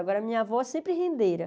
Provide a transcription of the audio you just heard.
Agora, minha avó sempre rendeira.